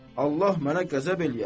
Allah mənə qəzəb eləyər.